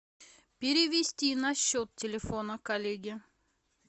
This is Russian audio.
перевести на счет телефона коллеги